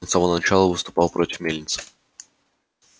он с самого начала выступал против мельницы